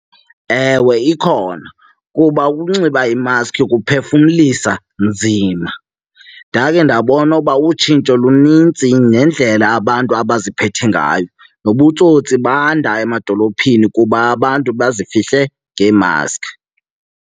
Ewe, ikhona kuba ukunxiba imaskhi kuphefumla nzima. Ndake ndabona uba utshintsho lunintsi nendlela abantu abaziphethe ngayo, nobutsotsi banda emadolophini kuba abantu bazifihle ngeemaskhi.